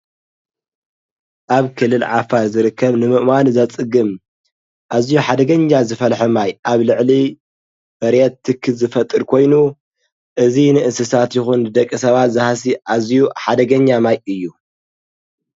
ኣብ ክልል ዓፋር ዝርከብ ንምእማን ዘፅግም ኣዝዩ ሓደገኛ ዝፈልሐ ማይ ኣብ ልዕሊ መሬት ትኪ ዝፈጥር ኮይኑ እዚ ንእንስሳት ይኹን ንደቂ ሰባት ዝሃሲ ኣዝዩ ሓደገኛ ማይ እዩ ።